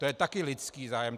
To je taky lidský zájem.